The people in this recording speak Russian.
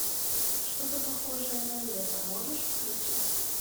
что то похожее на лето можешь включить